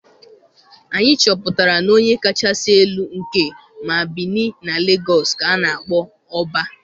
Anyị chọpụtara na onye kachasị elu nke ma Benin na Legọs ka a na-akpọ Ọbá